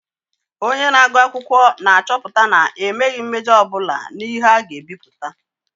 Onye na-agụ akwụkwọ na-achọpụta na emeghị mmejọ ọ bụla n'ihe a ga-ebipụta.